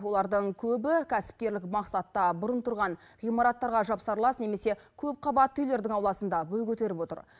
олардың көбі кәсіпкерлік мақсатта бұрын тұрған ғимараттарға жапсарлас немесе көпқабатты үйлердің ауласында бой көтеріп отыр